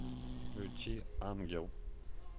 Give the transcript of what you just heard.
включи ангел